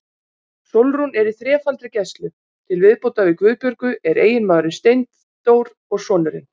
Sólrún er í þrefaldri gæslu, til viðbótar við Guðbjörgu er eiginmaðurinn Steindór og sonurinn